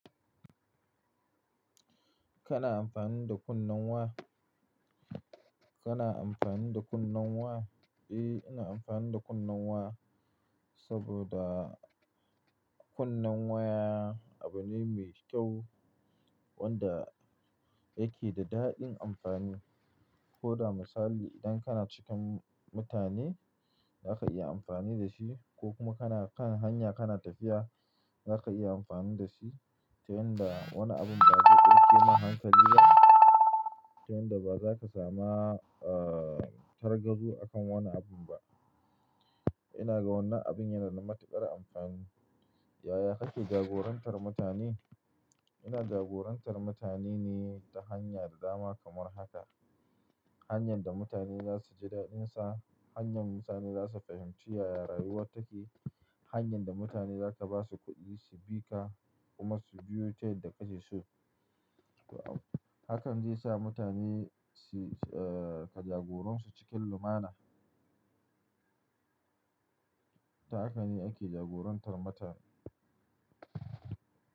Kana amfani da kunnen wa? Kana amfani da kunnen wa? E, ina amfani da kunnen wa saboda kunnen waya abune mai kyau wanda yake da daɗin amfani. Ko da misali idan kana cikin mutane zaka iya amfani da shi ko kuma kana kan hanya kana tafiya zaka iya amfani da shi. Ta yanda wani abin ba zai ɗauke ma hankali ba ta yanda ba za ka samu, ah, targado akan wani abin ba. Ina ga wannan abin yana da matuƙar amfani. Yaya kake jagorantar mutane? Ina jagorantar mutane ne ta hanya da dama kamar haka. Hanyan da mutane za su ji daɗinsa, hanyar mutane za su fahimci yaya rayuwa take, hanyar da mutane za ka ba su kuɗi su bi ka kuma su biyo ta yadda ka ke su. Hakan zai sa mutane su, ah, ka jagoransu cikin lumana. Ta haka ne ake jagorantar mutane.